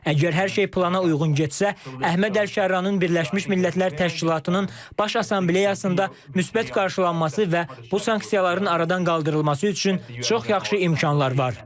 Əgər hər şey plana uyğun getsə, Əhməd Əl-Şarranın Birləşmiş Millətlər Təşkilatının Baş Assambleyasında müsbət qarşılanması və bu sanksiyaların aradan qaldırılması üçün çox yaxşı imkanlar var.